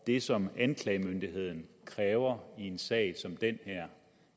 det som anklagemyndigheden kræver i en sag som den her